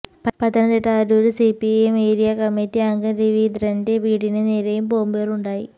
Pathanamthitta Adoor CPM area committee അംഗം രവീന്ദ്രന്റെ വീടിന് നേരെയും ബോംബേറുണ്ടായി